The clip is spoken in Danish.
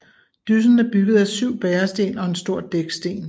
Dyssen er bygget af 7 bæresten og en stor dæksten